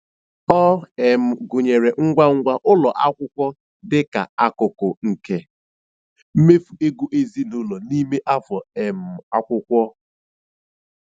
Ọ um gụnyere ngwa ngwa ụlọ akwụkwọ dịka akụkụ nke mmefu ego ezinụlọ n'ime afọ um akwụkwọ. um